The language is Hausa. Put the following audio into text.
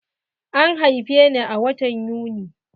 An haife ni a watan Yuni.